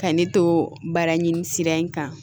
Ka ne to baara ɲini sira in kan